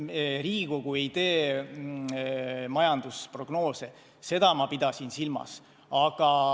Riigikogu ei tee majandusprognoose, seda ma pidasin silmas.